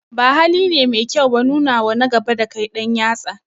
Ba haline mai kyau ba nunawa na gaba dakai ɗan yatsa